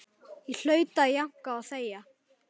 Ég hlaut að jánka og þegja.